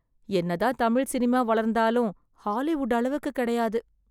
என்னதான் தமிழ் சினிமா வளர்ந்தாலும் ஹாலிவுட் அளவுக்கு கிடையாது.